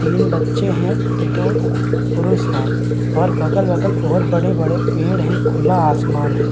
तीन बच्चे हैं तो दो पुरष हैं और बगल-वगल बहुत बड़े-बड़े पेड़ हैं खुला आसमान है।